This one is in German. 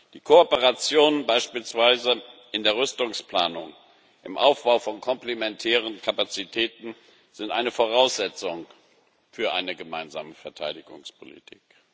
Die Kooperation beispielsweise in der Rüstungsplanung, im Aufbau von komplementären Kapazitäten ist eine Voraussetzung für eine gemeinsame Verteidigungspolitik.